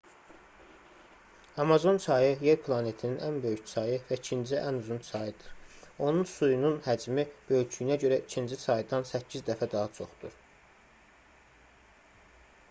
amazon çayı yer planetinin ən böyük çayı və ikinci ən uzun çayıdır onun suyunun həcmi böyüklüyünə görə ikinci çaydan 8 dəfə daha çoxdur